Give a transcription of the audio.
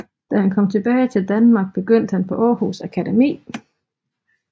Da han kom tilbage til Danmark begyndte han på Århus Akademi